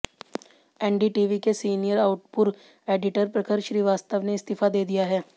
NDTV के senior output editor Prakhar Shrivastava ने इस्तीफा दे दिया है